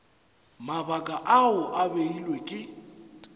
mabaka ao a beilwego ke